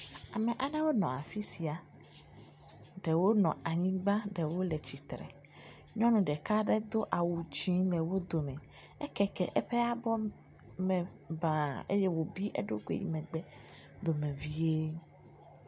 Ame aɖewo nɔ afisia, ɖewo nɔ anyigba, ɖewo le tsitre, nyɔnu ɖeka aɖe do awu dzié le wo dome, ekeke eƒe abɔ me bã, eye wò bi eɖokui yi megbe dome vie.